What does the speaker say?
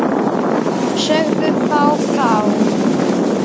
Segðu þá frá.